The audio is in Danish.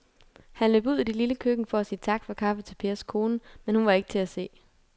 Han løb ud i det lille køkken for at sige tak for kaffe til Pers kone, men hun var ikke til at se.